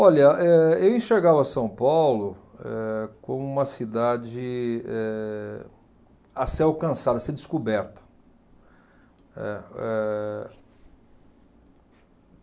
Olha, eh eu enxergava São Paulo, eh como uma cidade eh, a ser alcançada, a ser descoberta, eh. Eh